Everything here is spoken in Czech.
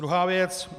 Druhá věc.